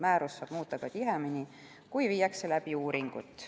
Määrust saab muuta ka tihemini, kui tehakse uuringud.